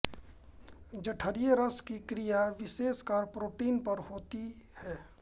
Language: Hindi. जठरीय रस की क्रिया विशेषकर प्रोटीन पर होती है